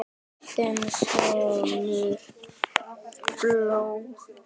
Þinn sonur Baldur.